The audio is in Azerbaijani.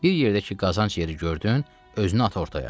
Bir yerdə ki, qazanc yeri gördün, özünə ata ortaya.